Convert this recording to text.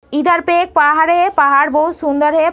इधर पे एक पहाड़ है। पहाड़ बहोत सुंदर है।